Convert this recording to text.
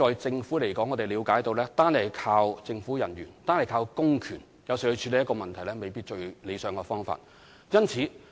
政府了解，單靠政府人員和公權來處理問題，未必是最理想的做法。